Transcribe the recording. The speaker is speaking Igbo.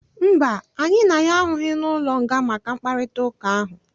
Mba, anyị na ya ahụghị n'ụlọnga maka mkparịtaụka ahụ.